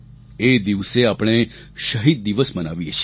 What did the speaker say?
એ દિવસે આપણે શહીદ દિવસ મનાવીએ છીએ